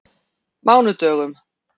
mánudögum